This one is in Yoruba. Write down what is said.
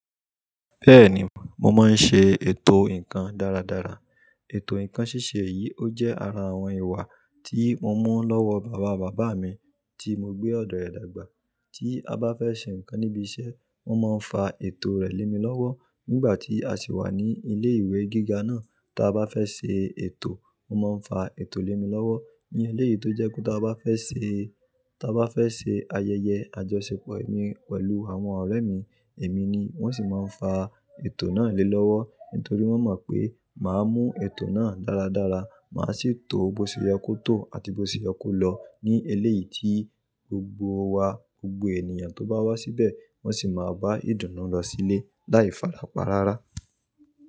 Bẹ́ẹ̀ni, mo máa ń ṣe ètò ǹkan dáradára. Ètò ǹkan ṣíṣe yìí ó jẹ́ ara àwọn ìwà tí mo mú lọ́wọ́ bàba bàbá mi tí mo gbé ọ̀dọ̀ rẹ̀ dàgbà. Tí a bá fẹ́ ṣe ǹkan níbi iṣẹ́, wọ́n máa ń fa ètò rẹ̀ lé mi lọ́wọ́. Nígbà tí a sì wà ní ilé ìwé gíga náà, tí a bá fẹ́ ṣe ètò, wọ́n máa ń fa ètò lé mi lọ́wọ́. Ní eléyìí tó jẹ́ pé tí a bá fẹ́ ṣe, tí a bá fẹ́ ṣe ayẹyẹ àjọṣepọ̀ mi pẹ̀lú àwọn ọ̀rẹ́ mi, èmi ni wọ́n sì máa ń fa ètò náà lé lọ́wọ́. Nítorí wọ́n mọ̀ pé màá mú ètò náà dáradára. Màá sì tò ó bó ṣe yẹ kó tò àti bó ṣe yẹ kó lọ ní eléyìí tí gbogbo wa, gbogbo ènìyàn tó bá wá síbẹ̀ wọ́n sì máa bá ìdùnnú lọ sílé. Láì falapa rárá.